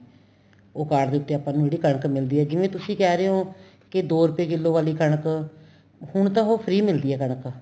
ਉਹ card ਦੇ ਉਤੇ ਆਪਾਂ ਨੂੰ ਕਣਕ ਮਿਲਦੀ ਏ ਜਿਵੇਂ ਤੁਸੀਂ ਕਹਿ ਰਹੇ ਓ ਕੇ ਦੋ ਰੁਪਏ ਕਿੱਲੋ ਵਾਲੀ ਕਣਕ ਹੁਣ ਤਾਂ ਉਹ free ਮਿਲਦੀ ਏ ਕਣਕ